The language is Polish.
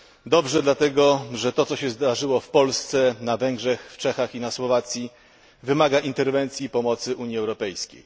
Dobrze, dlatego że to, co się zdarzyło w Polsce, na Węgrzech, w Czechach i na Słowacji, wymaga interwencji i pomocy Unii Europejskiej.